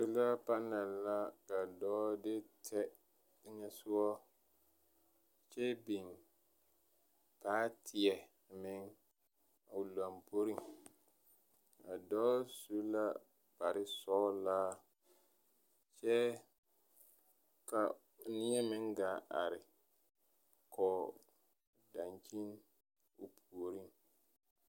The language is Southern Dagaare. Sola panɛl ka dɔɔ de tɛ teŋɛsogɔ kyɛ biŋ baateɛ meŋ o lamboriŋ. A dɔɔ su la kparesɔgelaa kyɛ ka neɛ meŋ gaa are kɔg dankyin o puoriŋ.